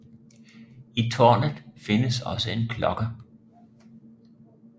I tårnet findes også en klokke